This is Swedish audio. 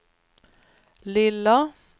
lilla